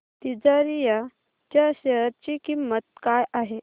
तिजारिया च्या शेअर ची किंमत काय आहे